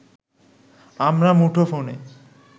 আমরা মুঠোফোনে